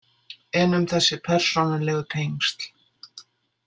En um þessi persónulegu tengsl?